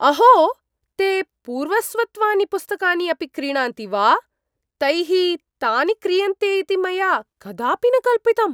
अहो! ते पूर्वस्वत्वानि पुस्तकानि अपि क्रीणन्ति वा? तैः तानि क्रीयन्ते इति मया कदापि न कल्पितम्।